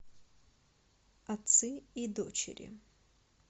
отцы и дочери